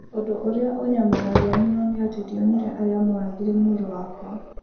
Ũndũ ũrĩa ũnyamaragia mũno nĩ atĩ ndionire arĩa mooragire mũrũ wakwa.